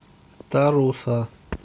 таруса